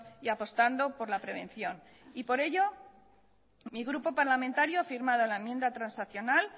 y apostando por la prevención por ello mi grupo parlamentario ha firmado la enmienda transaccional